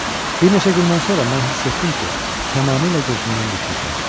Bir neçə gündən sonra mən hiss etdim ki, tamamilə gözümdən düşmüşəm.